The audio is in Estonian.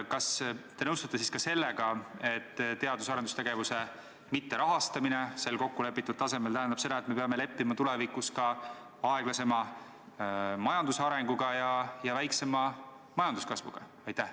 Kas te nõustute siis ka sellega, et teadus- ja arendustegevuse mitterahastamine kokkulepitud tasemel tähendab seda, et me peame tulevikus leppima aeglasema majandusarenguga ja väiksema majanduskasvuga?